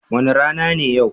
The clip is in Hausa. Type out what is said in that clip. Wani rana ne yau?